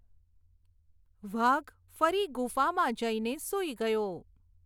વાઘ ફરી ગુફામાં જઈને સૂઈ ગયો.